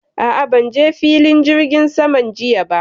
A'a, ban je filin jirgin saman jiya ba.